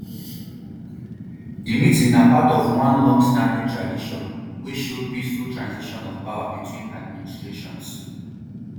di meeting na part of one longstanding tradition wey show peaceful transition of power between administrations